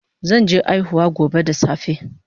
Zan je aihuwa gobe da safe